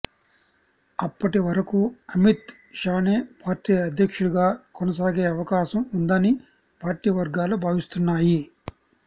అప్పటి వరకు అమిత్ షానే పార్టీ అధ్యక్షుడుగా కొనసాగే అవకాశం ఉందని పార్టీ వర్గాలు భావిస్తున్నాయి